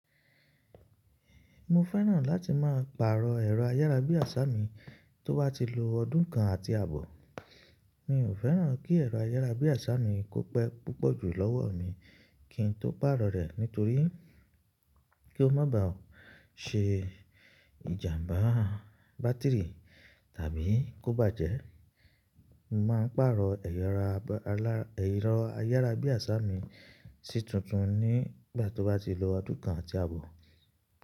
Mo fẹ́ràn láti máa pàrọ̀ ẹ̀rọ ayárabíàṣá mi tó bá ti lo ọdún kan àti àbọ̀. Mi ò fẹ́ràn kí ẹ̀rọ ayárabíàṣá mi kó pẹ́ púpọ̀ jú lọ́wọ́ mi kí n tó pàrọ̀ rẹ̀ nítorí kí ó má ba ṣe ìjàmbá bátìrì tàbí kó bàjẹ́. Mo máa ń pàrọ̀ ẹ̀rọ ayárabíàṣá mi sí títún nígbà tó bá ti lo ọdún kan àti àbọ̀.